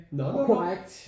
Når når når